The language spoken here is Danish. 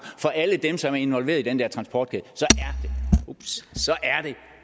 for alle dem der er involveret i den der transportkæde er det